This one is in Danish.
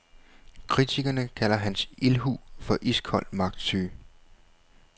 Kritikerne kalder hans ildhu for iskold magtsyge.